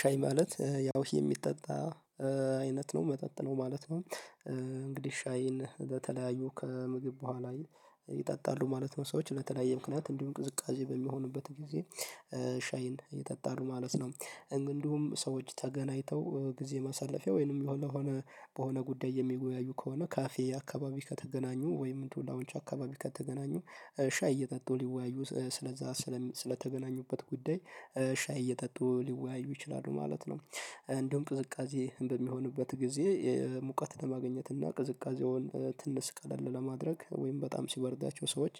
ሻይ ማለት ያው ይሄ የሚጠጣ አይነት ነው መጠጥ ነው ማለት ነው እንግዲህ ሻይን በተለያዩ ከምግብ በኋላ ይጠጣሉ ማለት ነው ሰዎች በተለያየ ምክንያት እንዲሁም ቅዝቃዜ በሚሆንበት ጊዜ ሻይን ይጠጣሉ ማለት ነው። እንዲሁም ሰዎች ተገናኝተው ጊዜ ማሳለፊያ ወይንም ለሆነ በሆነ ጉዳይ የሚወያዩ ከሆነ ካፌ አካባቢ ከተገናኙ ወይም እንትኑ ላውንች አካባቢ ከተገናኙ ሻይ እየጠጡ ሊወያዩ ስለዛ ስለተገናኙበት ጉዳይ ሻይ እየጠጡ ሊወያዩ ይችላሉ ማለት ነው። እንደውም ቅዝቃዜ በሚሆንበት ጊዜ ሙቀት ለማግኘት እና ቅዝቃዜውን ትንስ ቀልለ ለማድረግ ወይም በጣም ሲበረዳቸው ሰዎች